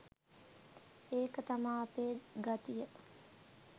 ඒක තමා අපේ ගතිය